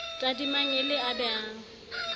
tadimang e le a behang